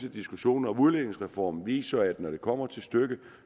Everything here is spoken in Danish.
at diskussionen om udligningsreformen viser at når det kommer til stykket